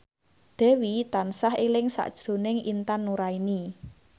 Dewi tansah eling sakjroning Intan Nuraini